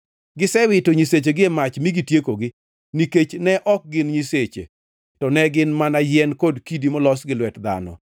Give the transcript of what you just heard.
Gisewito nyisechegi e mach mi gitiekogi, nikech ne ok gin nyiseche to ne gin mana yien kod kidi molos gi lwet dhano.